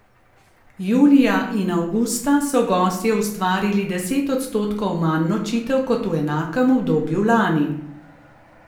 Julija in avgusta so gostje ustvarili deset odstotkov manj nočitev kot v enakem obdobju lani.